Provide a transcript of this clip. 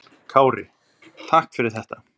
Kári: Takk fyrir þetta.